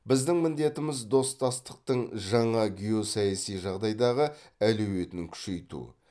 біздің міндетіміз достастықтың жаңа геосаяси жағдайдағы әлеуетін күшейту